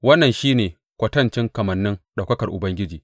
Wannan shi ne kwatancin kamannin ɗaukakar Ubangiji.